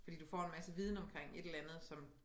Fordi du får en masse viden omkring et eller andet som